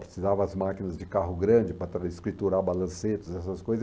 Precisava as máquinas de carro grande para ter escriturar a balancetes, essas coisas.